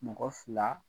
Mɔgɔ fila